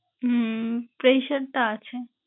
উম pressure টা আছে।